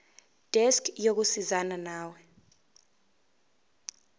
desk yokusizana nawe